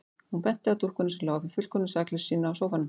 Hún benti á dúkkuna sem lá í fullkomnu sakleysi sínu á sófanum.